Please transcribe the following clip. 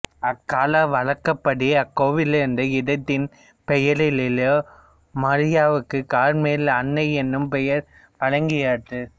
அக்கால வழக்கப்படி அக்கோவில் இருந்த இடத்தின் பெயராலேயே மரியாவுக்கு கார்மேல் அன்னை என்னும் பெயர் வழங்கலாயிற்று